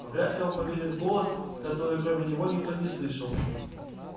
вряд ли он поверят в голос который кроме него никто не слышал